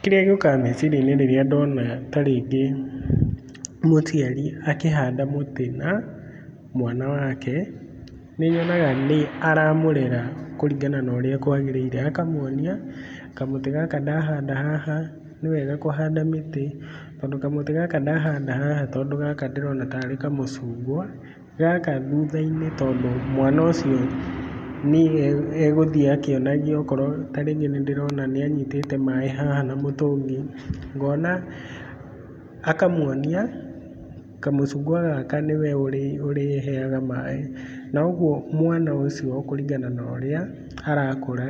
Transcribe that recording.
Kĩrĩa gĩũkaga meciria-inĩ rĩrĩa ndona ta rĩngĩ mũciari akĩhanda mũtĩ na mwana wake, nĩnyonaga nĩ aramũrera kũringana na ũrĩa kwagĩrĩire. Akamuonia kamũtĩ gaka ndahanda haha, nĩwega kũhanda mĩtĩ tondũ kamũtĩ gaka ndahanda haha tondũ gaka ndĩrona tarĩ kamũcungwa, gaka thutha-inĩ tondũ mwana ũcio nĩye egũthiĩ akĩonagio akorwo nĩ ta rĩngĩ nĩndĩrona nĩanyitĩte maĩ haha na mũtũngi, ngona akamuonia kamũcungwa gaka nĩwe ũrĩheaga maĩ, na ũguo mwana ũcio kũringana na ũrĩa arakũra